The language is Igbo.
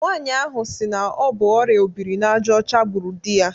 Nwanyi ahụ si na ọbụ ọria obiri n'aja ọcha gbụrụ di ya